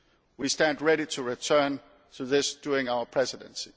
We stand ready to return to this during our Presidency.